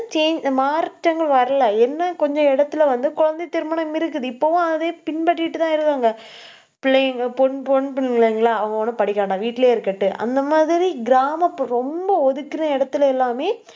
change மாற்றங்கள் வரலை. என்ன கொஞ்ச இடத்துல வந்து குழந்தை திருமணம் இருக்குது. இப்பவும் அதே பின்பற்றிட்டுதான் இருக்காங்க. பிள்ளைங்க பொ~ பெண்பிள்ளைகளா அவங்க ஒண்ணும் படிக்க வேண்டாம். வீட்டிலேயே இருக்கட்டும். அந்த மாதிரி கிராமப்புற~ ரொம்ப ஒதுக்குற இடத்துல எல்லாமே